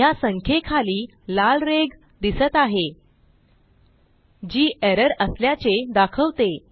ह्या संख्येखाली लाल रेघ दिसत आहे जी एरर असल्याचे दाखवते